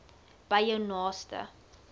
by jou naaste